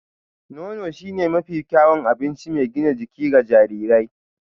Nono shine mafi kyawun abinci mai gina jiki ga jarirai